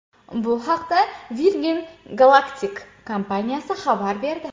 Bu haqda Virgin Galactic kompaniyasi xabar berdi .